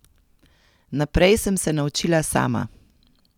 Naprej sem se naučila sama.